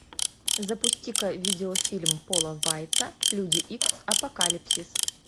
запусти ка видеофильм пола вайца люди икс апокалипсис